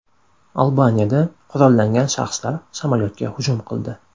Albaniyada qurollangan shaxslar samolyotga hujum qildi.